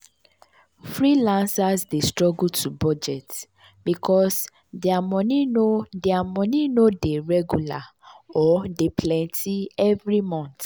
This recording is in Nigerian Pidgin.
freelancers dey struggle to budget because dia moni no dia moni no dey regular or dey plenty every mont.